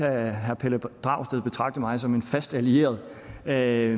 herre pelle dragsted betragte mig som en fast allieret der er